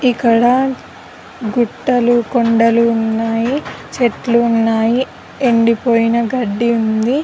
ఇక్కడ గుట్టలు కొండలు ఉన్నాయి చెట్లు ఉన్నాయి ఎండిపోయిన గడ్డి ఉంది .